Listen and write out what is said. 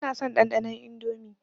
Ba na son ɗanɗanon Indomie.